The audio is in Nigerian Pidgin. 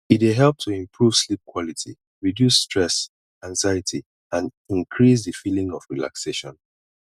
e dey help to improve sleep quality reduce stress anxiety and increase di feeling of relaxation